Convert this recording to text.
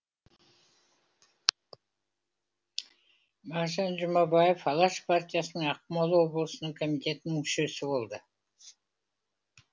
мағжан жұмабаев алаш партиясының ақмола облысының комитетінің мүшесі болды